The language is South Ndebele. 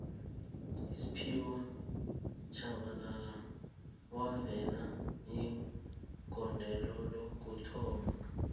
usphiwe shabalala wavalelo igodelo lokuthoma